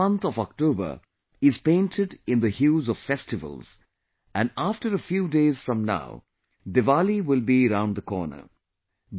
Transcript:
the whole month of October is painted in the hues of festivals and after a few days from now Diwali will be around the corner